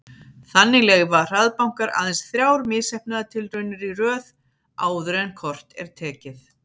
Þannig leyfa hraðbankar aðeins þrjár misheppnaðar tilraunir í röð áður en kort er tekið.